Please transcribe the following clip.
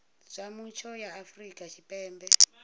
zwa mutsho ya afrika tshipembe